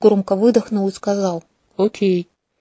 громко выдохнул и сказал окей